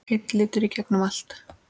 Einn litur í gegnum allt.